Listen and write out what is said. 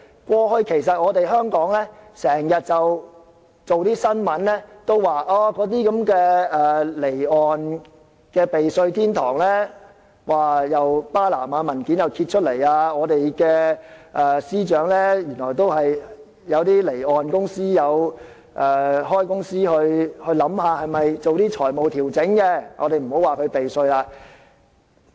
過去，香港不時有報道有關離岸避稅天堂的新聞，例如巴拿馬文件揭發，原來我們的司長都有開離岸公司進行財務調整，我們不要說他避稅。